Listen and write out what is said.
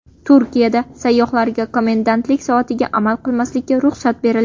Turkiyada sayyohlarga komendantlik soatiga amal qilmaslikka ruxsat berildi.